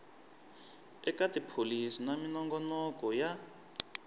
eka tipholisi na minongonoko ya